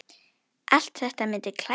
Allt þetta myndi klæða